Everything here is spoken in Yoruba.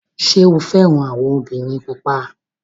Ṣé o fẹ́ràn àwọn obìnrin pupa?